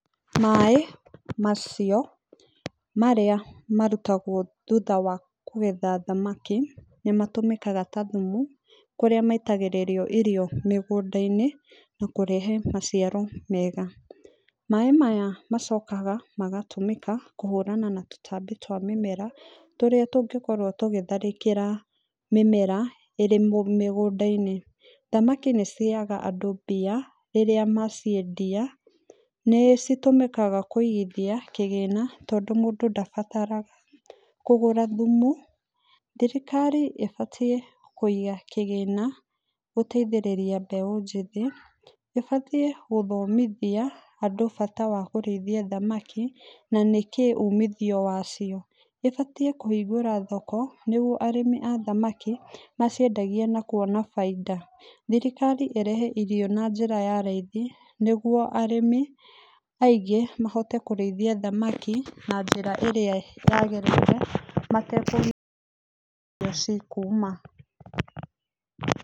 Maĩ macio marĩa marutagwo thutha wa kũgetha thamaki, nĩmatũmĩkaga ta thumu kũrĩa maitagĩrĩrio irio mĩgũnda-inĩ, na kũrehe maciari mega. Maĩ maya macokaga kũhũrana na tũtambi twa mĩmera tũrĩa tũngĩkorwo tũkĩtharĩkĩra ĩrĩ mĩgũnda-inĩ. Thamaki nĩcihega andũ mbia rĩrĩa maciendia. Nicitũmĩkaga kũigithi kĩgĩna tondũ mũndũ ndabataraga kũgũra thuma. Thirikari ĩbatiĩ kũiga kĩgĩna gũteithĩrĩria mbeũ njĩthĩ. ĩbatiĩ ũthomithia andũ bata wa kũrĩithia thamaki na nakĩĩ umithio wacio. ĩbatiĩ kũhingũra thoko nĩguo arĩmi athamaki maciendagie na kwona baida. Thirikari ĩrehe irio na njĩra ya raithi nĩguo arĩmi aĩngĩ mahote kũrĩithia thamaki na njĩra ĩrĩa yagĩrĩire, matakũmaka irio cikuma kũ.